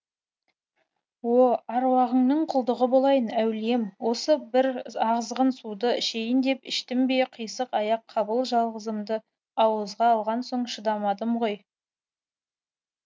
о аруағыңның құлдығы болайын әулием осы бір азғын суды ішейін деп іштім бе қисық аяқ қабыл жалғызымды ауызға алған соң шыдамадым ғой